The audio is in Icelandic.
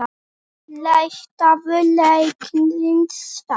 Leitaðu læknis, strax!